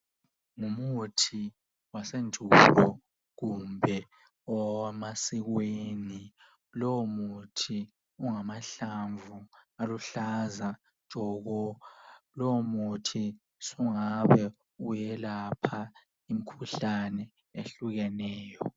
Ngumuthi wasendulo kumbe owamasikweni lowo muthi ungamahlamvu aluhlaza tshoko lowo muthi sungabe uyelapha imkhuhlane ehlukeneyo.